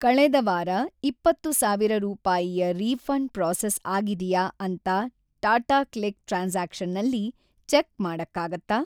ಕಳೆದ ವಾರ ಇಪ್ಪತ್ತು ಸಾವಿರ ರೂಪಾಯಿಯ ರೀಫಂಡ್‌ ಪ್ರೋಸೆಸ್‌ ಆಗಿದೆಯಾ ಅಂತ ಟಾಟಾಕ್ಲಿಕ್ ಟ್ರಾನ್ಸಾಕ್ಷನ್ನಲ್ಲಿ ಚೆಕ್‌ ಮಾಡಕ್ಕಾಗತ್ತಾ?